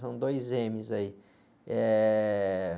São dois emes aí. Eh...